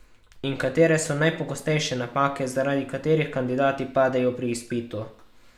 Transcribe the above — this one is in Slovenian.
In katere so najpogostejše napake, zaradi katerih kandidati padejo pri izpitu?